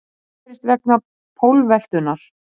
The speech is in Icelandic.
Það gerist vegna pólveltunnar.